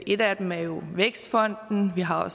en af dem er jo vækstfonden vi har